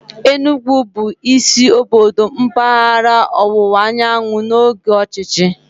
Enugwu bụ isi obodo mpaghara ọwụwa anyanwụ n'oge ọchịchị.